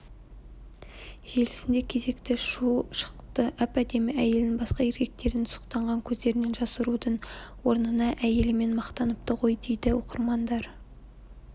желісінде кезекті шу шықты әп-әдемі әйелін басқа еркектердің сұқтанған көздерінен жасырудың орнынаәйелімен мақтаныпты ғой дейді оқырмандар